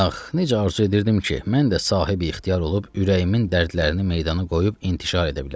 Ax, necə arzu edirdim ki, mən də sahibi ixtiyar olub ürəyimin dərdlərini meydana qoyub intişar edə bilim.